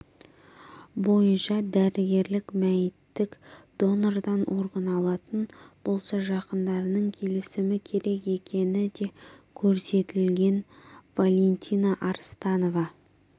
бойынша дәрігерлер мәйіттік донордан орган алатын болса жақындарының келісімі керек екені де көрсетілген валентина арыстанова